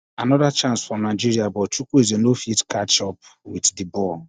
anoda chance for nigeria but chukwueze no fit catch up wit di ball